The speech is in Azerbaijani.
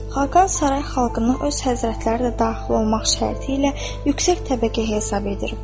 Xaqan saray xalqını öz həzrətləri də daxil olmaq şərti ilə yüksək təbəqə hesab edir.